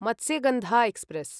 Matsyagandha express